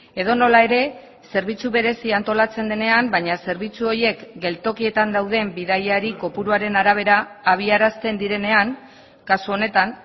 edonola ere zerbitzu berezia antolatzen denean baina zerbitzu horiek geltokietan dauden bidaiari kopuruaren arabera abiarazten direnean kasu honetan